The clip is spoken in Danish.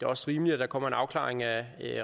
også rimeligt at der kommer en afklaring af